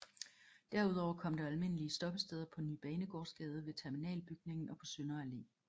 Derudover kom der almindelige stoppesteder på Ny Banegårdsgade ved terminalbygningen og på Sønder Allé